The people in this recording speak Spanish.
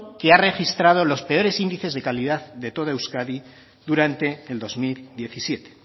que ha registrado los perores índices de calidad de todo euskadi durante el dos mil diecisiete